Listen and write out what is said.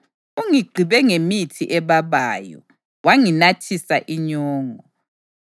Ungigqibe ngemithi ebabayo, wanginathisa inyongo.